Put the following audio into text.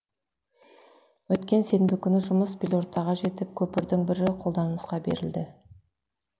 өткен сенбі күні жұмыс бел ортаға жетіп көпірдің бірі қолданысқа берілді